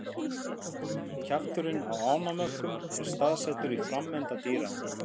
Kjafturinn á ánamöðkum er staðsettur á framenda dýranna.